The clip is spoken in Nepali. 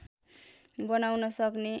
बनाउन सक्ने